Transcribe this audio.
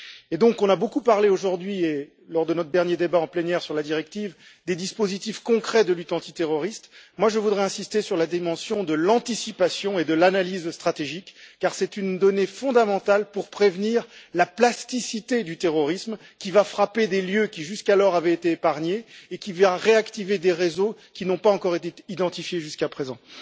On a donc beaucoup parlé aujourd'hui et, lors de notre dernier débat en plénière sur la directive, des dispositifs concrets de lutte antiterroriste et je voudrais insister sur la dimension de l'anticipation et de l'analyse stratégique, car c'est une donnée fondamentale pour prévenir la plasticité du terrorisme, qui va frapper des lieux qui, jusqu'alors, avaient été épargnés et qui va réactiver des réseaux qui n'ont pas encore été identifiés jusqu'à présent.